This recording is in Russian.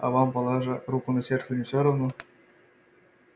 а вам положа руку на сердце не все равно